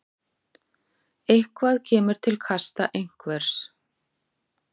Eitthvað kemur til kasta einhvers